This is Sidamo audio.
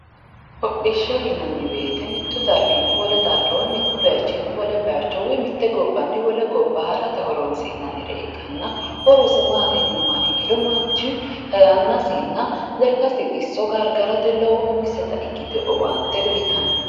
Hodhishsha yinanniwoyite mittu darginni wole woyi mittu bayichinni wole bayicho woyi mitte gobbanni wole gobba harate horoonsi'nanniha ikkanna horosi maati yiniha ikkiro manchu yannasinna lekkasi xisso gargarte lowota umiseta ikkitino owaante uyitanno.